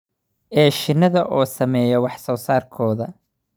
ee shinnida oo saameeya wax soo saarkooda